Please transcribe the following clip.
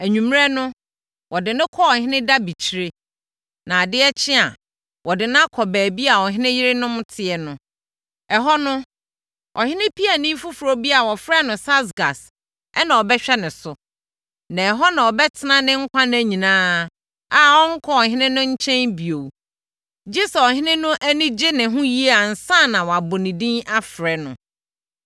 Anwummerɛ no, wɔde no kɔ ɔhene dabekyire, na adeɛ kye a, wɔde no akɔ baabi a ɔhene yerenom teɛ no. Ɛhɔ no, ɔhene piani foforɔ bi a wɔfrɛ no Saasgas na ɔbɛhwɛ no so. Na ɛhɔ na ɔbɛtena ne nkwa nna nyinaa a ɔrenkɔ ɔhene no nkyɛn bio, gye sɛ ɔhene no ani gyee ne ho yie ansa na wabɔ ne din afrɛ no.